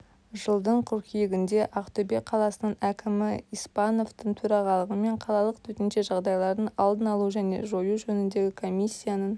жылдың қыркүйегінде ақтөбе қаласының әкімі испановтың төрағалығымен қалалық төтенше жағдайлардың алдын алу және жою жөніндегі комиссияның